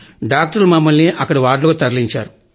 డాక్టర్లు మమ్మల్ని అక్కడి వార్డులోకి తరలించారు